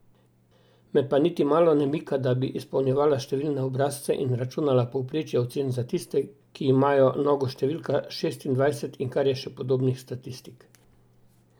Me pa niti malo ne mika, da bi izpolnjevala številne obrazce in računala povprečje ocen za tiste, ki imajo nogo številko šestindvajset in kar je še podobnih statistik.